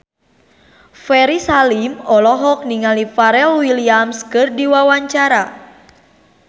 Ferry Salim olohok ningali Pharrell Williams keur diwawancara